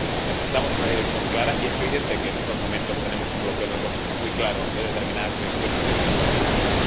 Mire, necesitamos una dirección clara y es evidente que, en estos momentos, tenemos un bloqueo en el Consejo muy claro de determinadas direcciones que necesitamos tomar.